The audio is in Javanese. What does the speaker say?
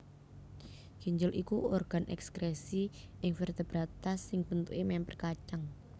Ginjel iku organ ekskresi ing vertebrata sing bentuké mèmper kacang